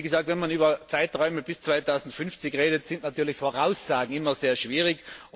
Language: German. Wie gesagt, wenn man über Zeiträume bis 2050 redet, sind natürlich Voraussagen immer sehr schwierig.